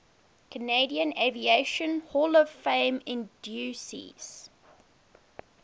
canadian aviation hall of fame inductees